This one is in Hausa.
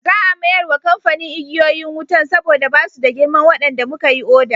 Za a mayar wa kamfanin igiyoyin wutan saboda ba su da girman waɗanda muka yi oda.